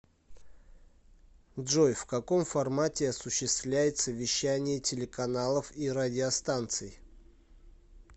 джой в каком формате осуществляется вещание телеканалов и радиостанций